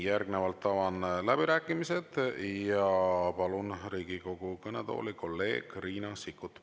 Järgnevalt avan läbirääkimised ja palun Riigikogu kõnetooli kolleeg Riina Sikkuti.